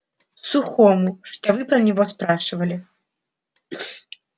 сухому что вы про него спрашивали